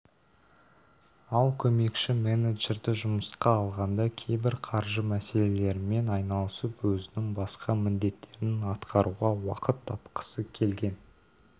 ал көмекші-менеджерді жұмысқа алғанда кейбір қаржы мәселелерімен айналысып өзінің басқа міндеттерін атқаруға уақыт тапқысы келген